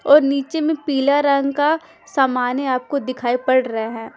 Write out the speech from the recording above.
और नीचे में पीला रंग का सामान है आपको दिखाई पड़ रहा है।